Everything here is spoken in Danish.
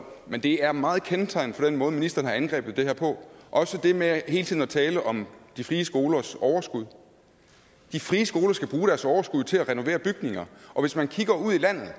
men det er meget kendetegnende for den måde ministeren har angrebet det her på også det med hele tiden at tale om de frie skolers overskud de frie skoler skal bruge deres overskud til at renovere bygninger og hvis man kigger ud i landet er